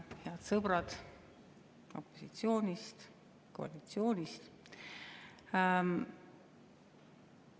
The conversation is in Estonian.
Head sõbrad opositsioonist, koalitsioonist!